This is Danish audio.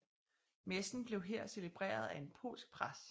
Messen blev her celebreret af en polsk præst